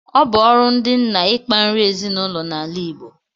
Ọ bu ọrụ ndi nna ikpa nri ezinụlọ na ala Igbo